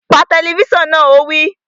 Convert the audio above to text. Pa tẹlifísàn náà! Ó wí